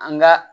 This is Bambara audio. An ga